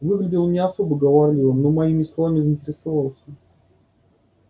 выглядел он не особо говорливым но моими словами заинтересовался